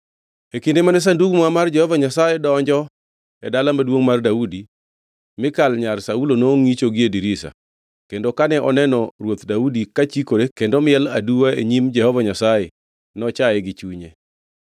E kinde mane Sandug Muma mar Jehova Nyasaye donjo e Dala Maduongʼ mar Daudi, Mikal nyar Saulo nongʼicho gie dirisa. Kendo kane oneno Ruoth Daudi kachikore kendo miel aduwa e nyim Jehova Nyasaye, nochaye gi chunye.